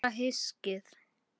Meira hyskið!